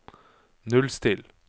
nullstill